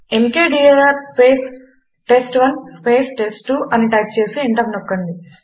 mkdir space test 1 space test two అని type చేసి enter నొక్కండి